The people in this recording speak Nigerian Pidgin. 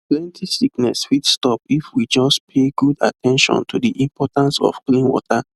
plenty sickness fit stop if we just pay good at ten tion to the importance of clean water